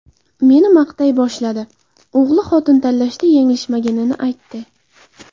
Meni maqtay boshladi, o‘g‘li xotin tanlashda yanglishmaganini aytdi.